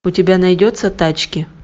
у тебя найдется тачки